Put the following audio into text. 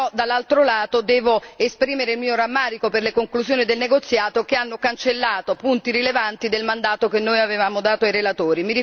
dall'altro lato, devo esprimere il mio rammarico per le conclusioni del negoziato che hanno cancellato punti rilevanti del mandato che avevamo dato ai relatori.